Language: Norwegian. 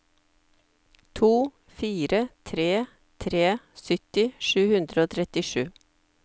to fire tre tre sytti sju hundre og trettisju